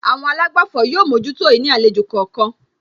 Àwọn àlágbàfọ̀ yóò mójútó ìní àlejò kọ̀ọ̀kan